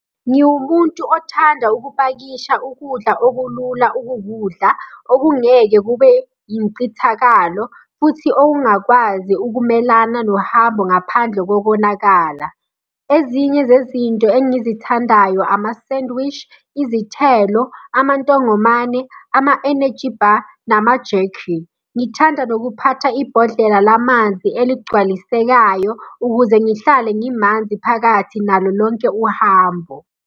Ngiwumuntu othanda ukupakisha ukudla okulula ukukudla, okungeke kube yincithakalo, futhi okungakwazi ukumelana nohambo ngaphandle kokonakala. Ezinye zezinto engizithandayo, amasendwishi, izithelo, amantongomane, ama-energy bar, nama-jerky. Ngithanda nokuphatha ibhodlela la manzi eligcwalisekayo ukuze ngihlale ngimanzi phakathi nalo lonke uhambo.